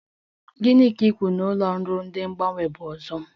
Gị ka i kwuru a ụlọ ọrụ de mgbanwe bụ ọzọ?